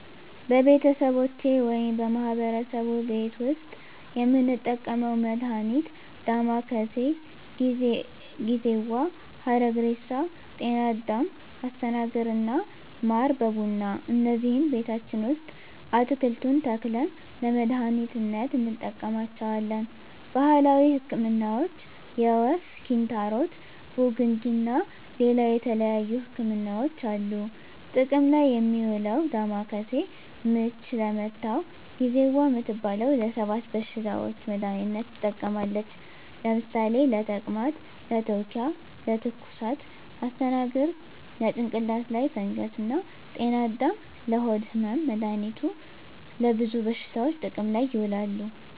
በቤተሰቦቼ ወይም በማህበረሰቡ ቤት ዉስጥ የምንጠቀመዉ መድሃኒት ዳማከሴ፣ ጊዜዋ፣ ሀረግሬሳ፣ ጤናአዳም፣ አስተናግር እና ማር በቡና እነዚህን ቤታችን ዉስጥ አትክልቱን ተክለን ለመድሃኒትነት እንጠቀማቸዋለን። ባህላዊ ህክምናዎች የወፍ፣ ኪንታሮት፣ ቡግንጂ እና ሌላ የተለያዩ ህክምናዎች አሉ። ጥቅም ላይ እሚዉለዉ ዳማከሴ፦ ምች ለመታዉ፣ ጊዜዋ እምትባለዋ ለ 7 በሽታዎች መድሃኒትነት ትጠቅማለች ለምሳሌ፦ ለተቅማጥ፣ ለትዉኪያ፣ ለትኩሳት... ፣ አስተናግር፦ ለጭንቅላት ላይ ፈንገስ እና ጤናአዳም፦ ለሆድ ህመም... መድሃኒቱ ለብዙ በሽታዎች ጥቅም ላይ ይዉላሉ።